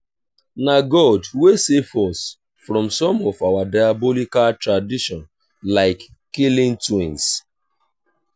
na god wey save us from some of our diabolical tradition like killing twins